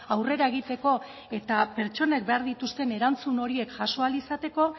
aurrera egiteko eta pertsonek behar dituzten erantzun horiek jaso ahal izateko